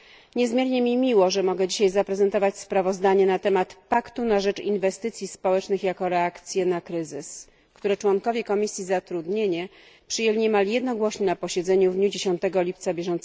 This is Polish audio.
Niezmiernie mi miło, że mogę dzisiaj zaprezentować sprawozdanie na temat paktu na rzecz inwestycji społecznych jako reakcji na kryzys, które członkowie Komisji Zatrudnienia przyjęli niemal jednogłośnie na posiedzeniu w dniu 10 lipca br.